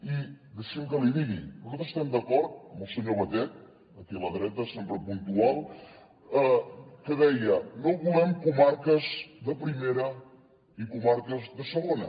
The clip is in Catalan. i deixi’m que l’hi digui nosaltres estem d’acord amb el senyor batet aquí a la dreta sempre puntual que deia no volem comarques de primera i comarques de segona